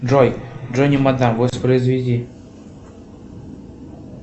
джой джонни мада воспроизведи